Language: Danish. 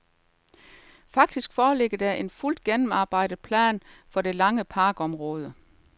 Faktisk foreligger der en fuldt gennemarbejdet plan for det lange parkområde.